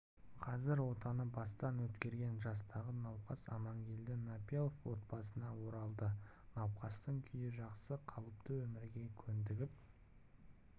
қазір отаны бастан өткерген жастағы науқас амангелді напилов отбасына оралды науқастың күйі жақсы қалыпты өмірге көндігіп